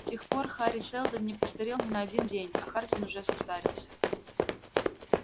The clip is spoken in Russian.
с тех пор хари сэлдон не постарел ни на один день а хардин уже состарился